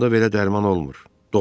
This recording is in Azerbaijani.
Onda belə dərman olmur.